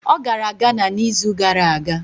Ọ gara Ghana n'izu gara aga.